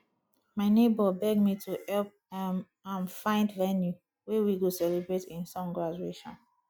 my nebor beg me to help um am find venue wey we go celebrate him son graduation